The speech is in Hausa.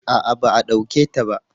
a'a ba a dauke ta ba